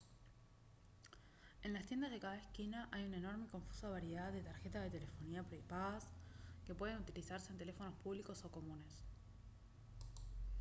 en las tiendas de cada esquina hay una enorme y confusa variedad de tarjetas de telefonía prepagas que pueden utilizarse en teléfonos públicos o comunes